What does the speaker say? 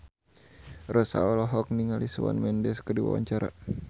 Rossa olohok ningali Shawn Mendes keur diwawancara